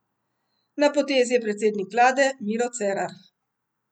Na potezi je predsednik vlade Miro Cerar.